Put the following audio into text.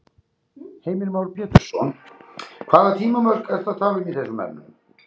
Heimir Már Pétursson: Hvaða tímamörk ertu að tala um í þessum efnum?